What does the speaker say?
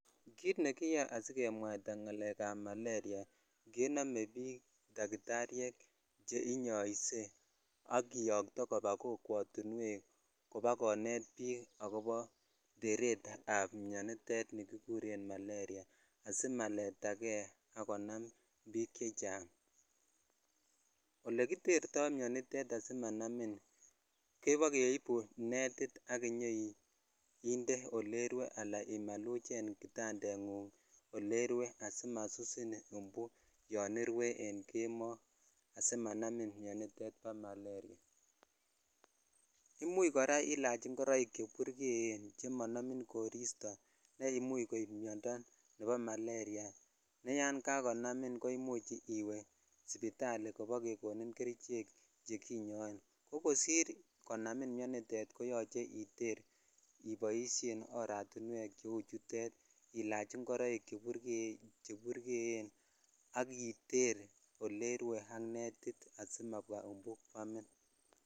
Kit nekiyoe asikemwaita ngalek ab maleria kenome bik dakitaryek cheinyose ak kiyoto koba kokwotunwek kobakonet bik akobo teret ab mionitet ni kikuren maleriavasimaleta kei ak konam bik chechang ole kiterto mionitet asimanamin kebendi keibu netit ak inyoinde ole irue ala imaluchen kitandet oleirue asimasusin imbu yon irue en kemoo asimanamin mionitetet bo maleria imuch kora ilach ingoroik che burgeen che monomin koristo ne imuch koib miondo nebo maleria neyan kakonamin ko imuch iwe sipitali kobokekonon kerichek chekinyon ko kosir konamin mionitet koyoche iter iboishen oratinwek cheu chutet ilach ingoroik che burgeen ak iter olerue ak netitasimwabwaa imbuu kwamin